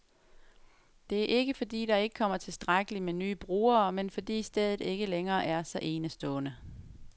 Det er ikke, fordi der ikke kommer tilstrækkeligt med nye brugere, men fordi stedet ikke længere er så enestående.